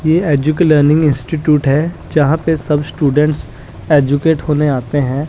ये एजुके learning institute है जहां पे सब स्टूडेंट्स एजुकेट होने आते हैं।